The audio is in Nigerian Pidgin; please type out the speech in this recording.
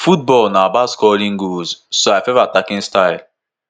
"football na about scoring goals so i favour attacking style.